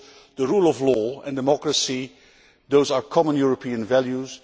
The rule of law and democracy are common European values.